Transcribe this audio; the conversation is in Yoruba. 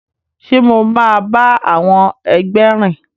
Ṣe mo ma ba àwọn ẹgbẹ rìn?